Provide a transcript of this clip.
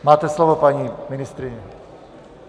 Máte slovo, paní ministryně.